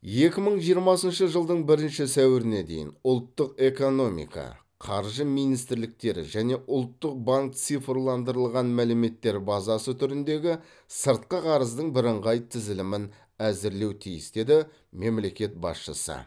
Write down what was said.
екі мың жиырмасыншы жылдың бірінші сәуіріне дейін ұлттық экономика қаржы министрліктері және ұлттық банк цифрландырылған мәліметтер базасы түріндегі сыртқы қарыздың бірыңғай тізілімін әзірлеу тиіс деді мемлекет басшысы